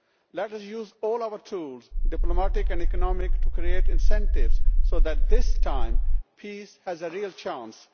Let us use all our tools, diplomatic and economic, to create incentives so that this time peace has a real chance.